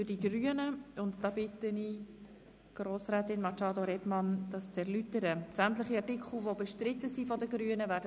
Ich bitte Grossrätin Machado Rebmann auszuführen, welche Artikel bestrittenen sind.